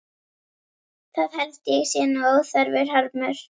Það held ég sé nú óþarfur harmur.